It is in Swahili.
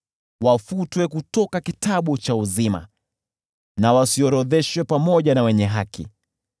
Wafutwe kutoka kitabu cha uzima na wasiorodheshwe pamoja na wenye haki.